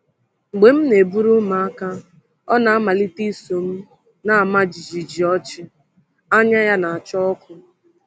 “Mgbe m na-eburu ụmụaka, ọ na-amalite iso m na-ama jijiji ọchị, anya ya na-acha ọkụ!”